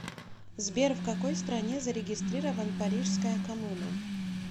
сбер в какой стране зарегистрирован парижская коммуна